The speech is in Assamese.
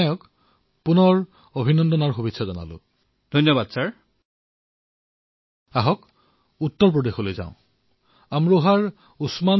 মহোদয় তেওঁ স্নাতক উত্তীৰ্ণ